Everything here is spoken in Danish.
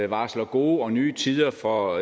varsler gode og nye tider for